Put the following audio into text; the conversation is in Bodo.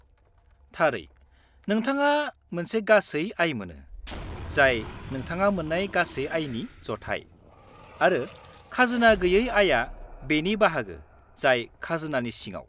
-थारै, नोंथाङा मोनसे गासै आय मोनो, जाय नोंथाङा मोन्नाय गासै आयनि जथाय, आरो खाजोना गोयै आयआ बेनि बाहागो जाय खाजोनानि सिङाव।